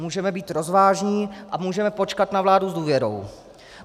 Můžeme být rozvážní a můžeme počkat na vládu s důvěrou.